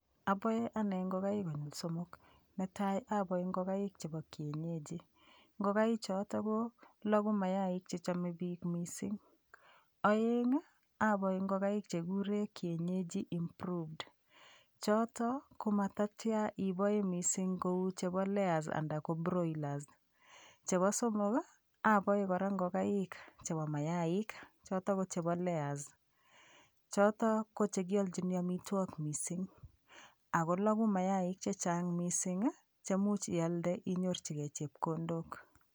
Aboe ane ngokaik konyil somok netai aboe ngokaik chebo kienyeji] ngokaichoto koloku mayaik chechomei biik mising' oeng' aboe ngokaik chekikure kienyeji improved choto komatatya inoe mising' kou chebo layers anda ko broilers chebo somok aboe kora ngokaik chebo mayaik choto ko chebo layers choto ko chekioichini omitwok mising' ako loku mayaik chechang' mising' chemuuch ialde inyorchigei chepkondok